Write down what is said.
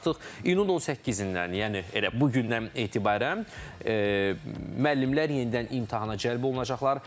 Artıq iyunun 18-dən, yəni elə bu gündən etibarən müəllimlər yenidən imtahana cəlb olunacaqlar.